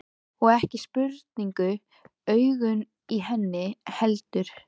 Og ekki sprungu augun í henni heldur.